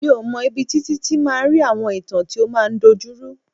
Mi ò mọ̀ ibi tí Títí ti máa ń rí àwọn ìtàn tí ó máa ń dojuru.